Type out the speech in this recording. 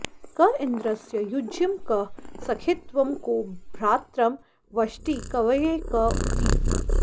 क इन्द्रस्य युज्यं कः सखित्वं को भ्रात्रं वष्टि कवये क ऊती